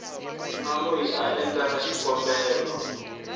na loyi a endleke xikombelo